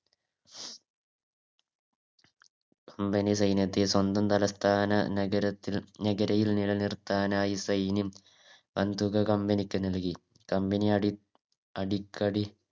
Company സൈന്യത്തെ സ്വന്തം തലസ്ഥാന നഗരത്തിൽ നഗരിയിൽ നിലനിർത്താനായി വൻ തുക Company ക്ക് നൽകി Company അടി അടിക്കടി